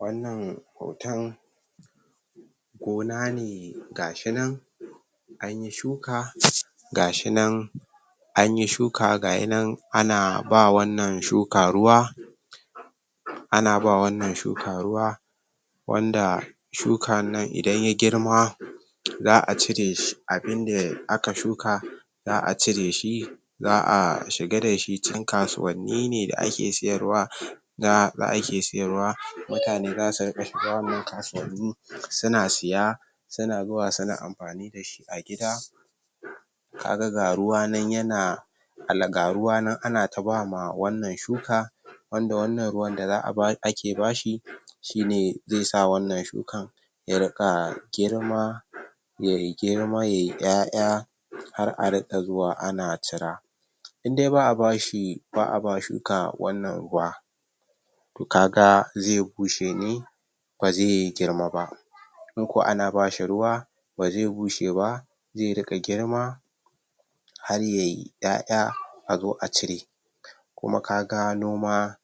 Wannan hoton gona ne gashi nan an yi shuka gashi nan anyi shuka gayi nan ana ba wannan shuka ruwa ana ba wannan shuka ruwa wanda sukannnan idan ya girma za a cire shi abinda aka shuka za a cire shi za a shiga da shi cikin kasuwanni ne da ake siyarwa? da ake siyarwa mutane za su riƙa shiga wannan kasuwani suna siya suna zuwa suna amfani da shi a gida ka ga ga ruwa nan yana? ga ruwa nan anata ba ma wannan shuka wanda wannan ruwanne za'a bash ake bashi shine zai sa wannan shukan ya riƙa girma ya yi girma ya yi ƴaƴa har a riƙa zuwa ana cira in dai ba a bashi ba a ba shuka wannan ruwa to ka ga zai bushe ne ba zai girma ba in ko ana bashi ruwa ba zai bushe ba zai riƙa girma har ya yi ƴaƴa a zo a cire kuma ka gano ma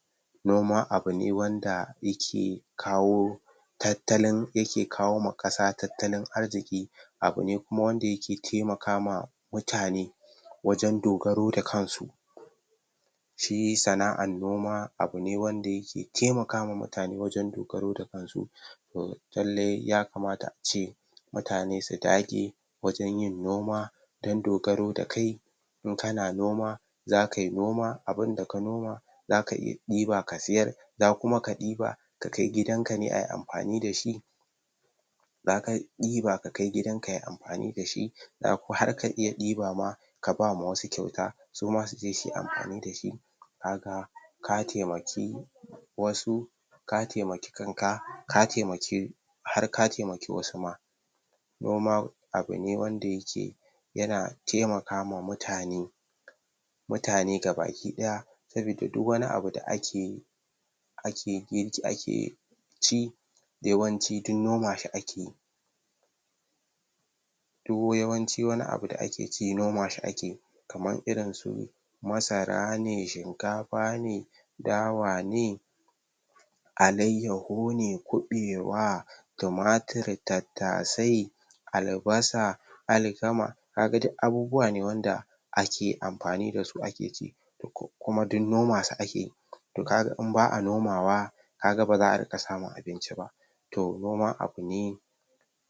noma abu ne wanda yake kawo tattalin yake kawo ma ƙasa tattalin arziki abu ne kuma wanda yake taimaka ma mutane wajen dogaro da kansu shi sana'an noma abu ne wanda yake taimaka ma nutane wajen dogaro da kansu uhm lallai yakamata a ce mutane su dage wajen yin noma dan dogaro da kai in kana noma za ka yi noma abinda ka noma za ka iya ɗiba ka siyar za kuma ka ɗiba ka kai gidanka ne a yi amfani da shi za ka ɗiba ka kai gidan ka yi amfani da shi? har ka iya ɗiba ma ka ba ma wasu kyauta suma su je su yi amfani da shi ka ga ka taimaki wasu ka taimaki kanka ka taimaki har ka taimaki wasu ma noma abune wanda yake yana taimaka ma mutane mutane gabaki ɗaya sabida duk wani abu da ake yi ake? ake ci yawanci duk nomashi ake duk yawanci wani abu da ake ci nomashi ake kaman irinsu masara ne shinkafa ne dawa ne alayyahu ne kuɓewa tumatir tattasai albasa alkama ka ga duk abubuwa ne wanda ake amfani da su ake ci kuma duk nomasu ake to ka ga in ba'a nomawa ka ga ba za'a riƙa samun abinci ba to noma abu ne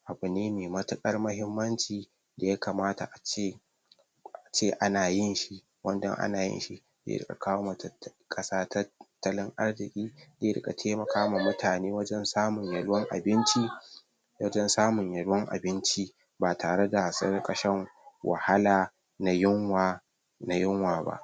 abu ne mai matuƙar mahimmanci da yakamata ace a ce ana yinshi wanda in ana yinshi zai riƙa kawo ma tatta ƙasa tattalin arziki zai riƙa taimaka wa mutane wanjen samun yalwan abinci wajen samun yalwan abinci ba tare da sun riƙa shan wahala na yunwa na yunwa ba